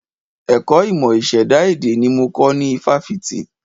Ẹ̀kọ́ ìmọ̀ ìṣẹ̀dá èdè ni mo kọ́ ní ifáfitì